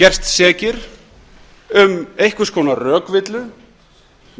gerst sekir um einhvers konar rökvillu